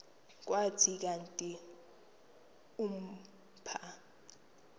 kuthi kanti umpha